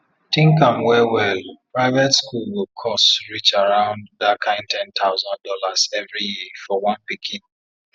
think am well well private school go cost reach around that kind ten thousand dollars every year for one pikin